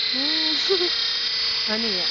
উম হয় নেকি?